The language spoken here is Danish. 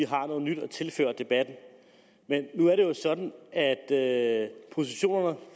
har noget nyt at tilføre debatten men nu er det jo sådan at at positionerne